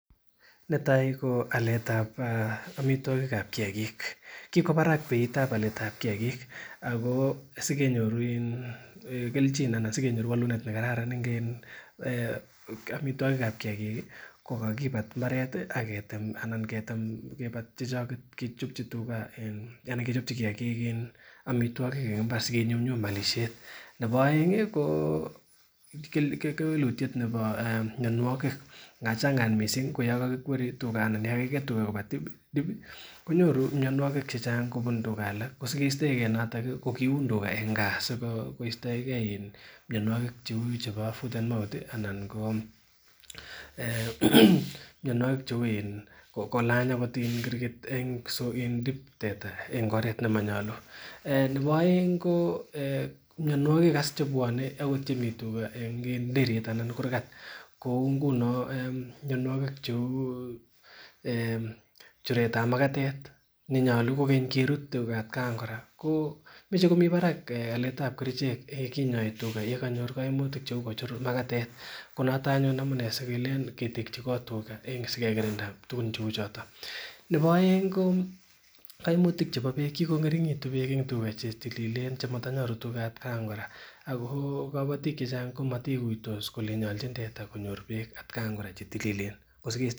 Netai ko aletab omitwokikab kiyakik kikoba barak beitab aletab kiyakik ako sikenyoru keljin anan sikenyoru wolunet nekararan eng' omitwokikab kiyakik kokakibat mbaret akechopchi kiyakik omitwokik eng' imbar asikenyumnyum olishet nebo oeng' ko kewelutyet nebo mionwokik nga chang'at mising' ko yo kakikweri anan yo kakiket tuga koba dip konyoru mionwokik chechang' kobun tuga alak kosikeistoekei noto ko keuni tuga eng' kaa sikoistoekei mionwokik cheu chebo foot and mouth anan ko mionwokik cheu en kolany akot kirgit eng' dip teta eng' oret nemanyolu nebo oeng' ko mionwokik as chebwonei akot chemi tuga enko derit anan kurgat kou nguno mionwokik cheu churet ab makatet nenyolu kokeny kerut tuga atkantugul kora komichei komi barak alet ab kerichek ye kinyoi tuga yekanyor kaimutik cheu kochur makatet ko noto amune sikelen ketekchi loot tuga sikekirinda tukuk cheu choto nebo oeng' ko kaimutik chebo beek kikong'eringitu beek eng' chetililen chenyoru tuga atkankora ako kabatik chechang' komataikuitos kole nyoljin Tete konyoru beek atkan kora chetililen